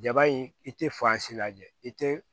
Jaba in i tɛ lajɛ i tɛ